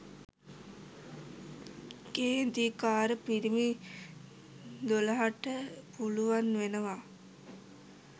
"කේන්තිකාර පිරිමි දොළහට" පුළුවන් වෙනවා.